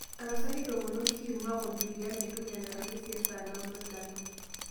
tapasali ntoomono kim ,marc o juliani entumo e aramisi e saa naudo dama